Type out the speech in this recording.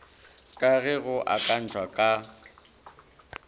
ka ge go akantšwe ka